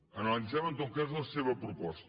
analitzem en tot cas la seva proposta